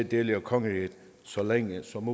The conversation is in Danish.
dele af kongeriget så længe som